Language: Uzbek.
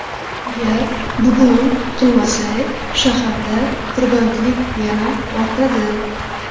Agar bugun qilmasak, shaharda tirbandlik yana ortadi.